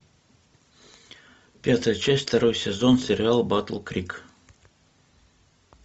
пятая часть второй сезон сериал батл крик